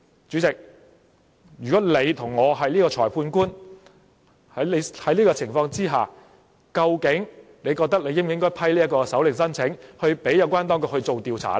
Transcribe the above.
主席，如果你是裁判官，在這樣的情況之下，究竟你覺得應否批准搜查令申請，讓有關當局作出調查呢？